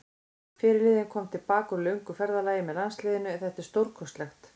Fyrirliðinn kom til baka úr löngu ferðalagi með landsliðinu, þetta er stórkostlegt.